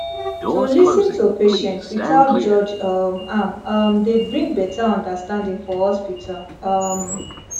to lis ten to patient without judge um am um dey bring better understanding for hospital um